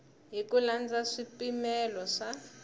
hi ku landza swipimelo swa